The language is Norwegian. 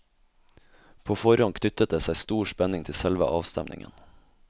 På forhånd knyttet det seg stor spenning til selve avstemningen.